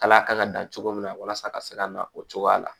Kala kan ka dan cogo min na walasa a ka se ka na o cogoya la